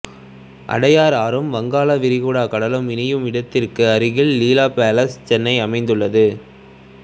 அடையார் ஆறும் வங்காளா விரிகுடா கடலும் இணையும் இடத்திற்கு அருகில் லீலா பேலஸ் சென்னை அமைந்துள்ளது